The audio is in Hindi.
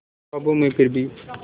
ख्वाबों में फिर भी